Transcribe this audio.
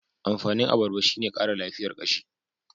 Amfanin abarba shi ne Kara lafiyar kashi.